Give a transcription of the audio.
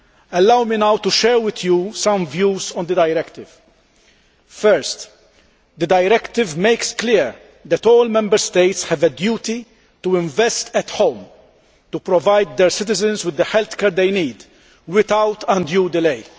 Allow me now to share with you some views on the directive. Firstly, the directive makes clear that all Member States have a duty to invest at home, to provide their citizens with the healthcare they need without undue delay.